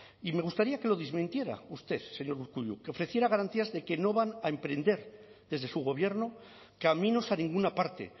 y me gustaría que lo desmintiera usted señor urkullu que ofreciera garantías de que no van a emprender desde su gobierno caminos a ninguna parte